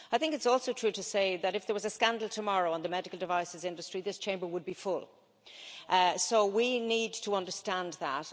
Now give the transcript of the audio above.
I think it's also true to say that, if there was a scandal tomorrow on the medical devices industry, this Chamber would be full, so we need to understand that.